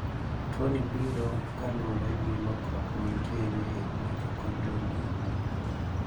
Tuoni biro kaluwore gi lokruok mantiere e mitochondrial DNA.